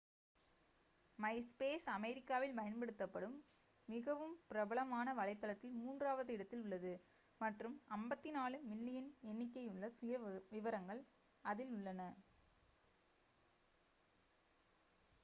myspace அமெரிக்காவில் பயன்படுத்தப்படும் மிகவும் பிரபலமான வலைத்தளத்தில் மூன்றாவது இடத்தில் உள்ளது மற்றும் 54 மில்லியன் எண்ணிக்கையுள்ள சுயவிவரங்கள் அதில் உள்ளன